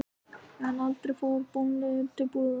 En aldrei fór ég bónleiður til búðar.